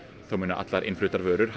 þá verða allar innfluttar vörur